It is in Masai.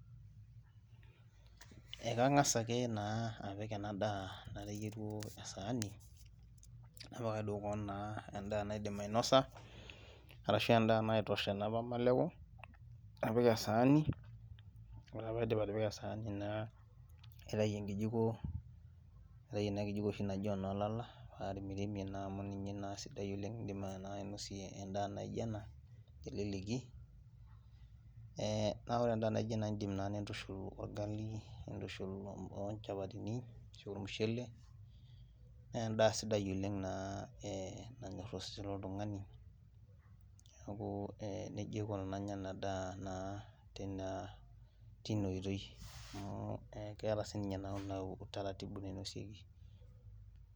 Ekang'as ake naa apik ena daa nateyieruo esaani napikaki duo koon naa endaa naidim ainosa arashu endaa naitosha naa pamaleku napik esaani ore paidip atipika esaani naa naitai enkijiko naitai ena kijiko oshi naji enolala paremiremie naa amu ninye naa sidai oleng indim naa ainosie endaa naijio ena teleleki eh naa ore endaa naijo ena indim naa nintushul orgali nintushul ochapatini ashu ormushele nendaa sidai oleng naa eh nanyorr osesen loltung'ani niaku eh nejia aiko tenanya ena daa naa teina tina oitoi amu eh keeta sininye naa ina utaratibu nainosieki.